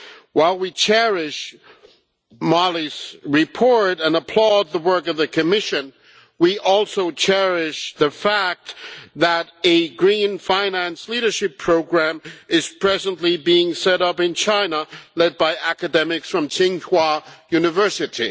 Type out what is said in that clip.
While we cherish Molly's report and applaud the work of the Commission, we also cherish the fact that a green finance leadership programme is presently being set up in China, led by academics from Tsinghua University.